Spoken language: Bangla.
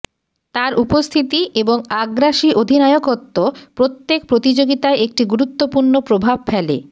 তাঁর উপস্থিতি এবং আগ্রাসী অধিনায়কত্ব প্রত্যেক প্রতিযোগিতায় একটি গুরুত্বপূর্ণ প্রভাব ফেলে